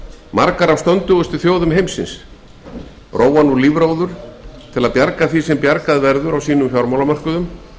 margar af stöndugustu þjóðum heims róa nú lífróður til að bjarga því sem bjargað verður á sínum fjármálamörkuðum